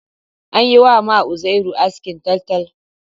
An yi ma Uzairu askin taltal